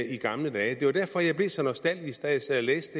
i gamle dage det var derfor jeg blev så nostalgisk da jeg sad og læste